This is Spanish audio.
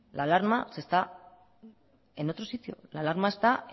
la alarma está en otro sitio la alarma